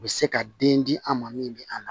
U bɛ se ka den di an ma min bɛ an na